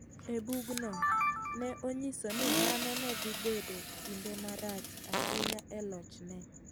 E bugno, ne onyiso ni mano ne dhi bedo kinde marach ahinya e lochne.